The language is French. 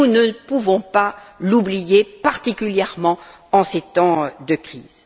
Nous ne pouvons pas l'oublier, particulièrement en ces temps de crise.